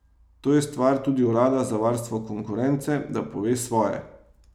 To je stvar tudi Urada za varstvo konkurence, da pove svoje.